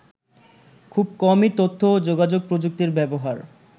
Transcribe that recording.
খুব কমই তথ্য ও যোগাযোগ প্রযুক্তির ব্যবহার